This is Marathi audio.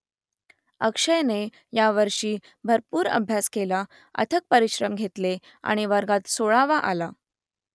अक्षयने यावर्षी भरपूर अभ्यास केला अथक परिश्रम घेतले आणि वर्गात सोळावा आला